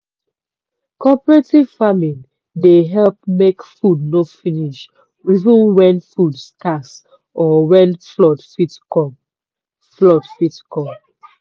cooperative farming dey help make food no finish even when food scarce or when flood fit come. flood fit come.